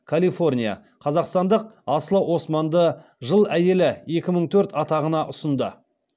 қазақстандық асылы османды жыл әйелі екі мың төрт атағына ұсынды